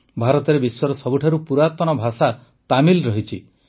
ଭାରତରେ ବିଶ୍ୱର ସବୁଠାରୁ ପୁରାତନ ଭାଷା ତାମିଲ ରହିଛି